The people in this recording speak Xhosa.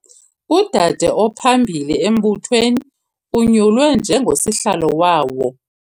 Udade ophambili embuthweni unyulwe njengosihlalo wawo.